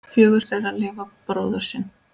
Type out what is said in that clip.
Fjögur þeirra lifa bróður sinn.